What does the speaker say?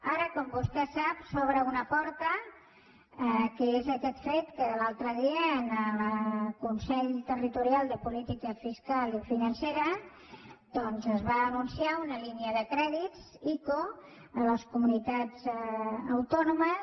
ara com vostè sap s’obre una porta que és aquest fet que l’altre dia en el consell territorial de política fiscal i financera doncs es va anunciar una línia de crèdits ico a les comunitats autònomes